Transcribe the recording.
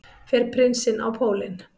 Fer prinsinn á pólinn